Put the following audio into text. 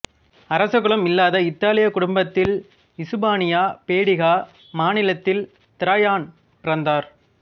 அரசகுலம் இல்லாத இத்தாலியக் குடும்பத்தில் இசுபானியா பேடிகா மாநிலத்தில் திராயான் பிறந்தார்